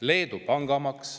Leedus on pangamaks.